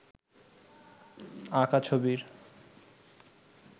আঁকা ছবির